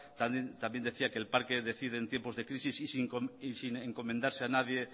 también decía que el parque decide en tiempos de crisis y sin encomendarse a nadie